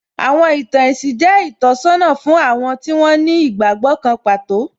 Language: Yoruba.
Àwọn ìtàn ẹ̀sìn jẹ́ ìtọ́sọ́nà fún àwọn tí wón ní ìgbàgbọ́ kan pàtó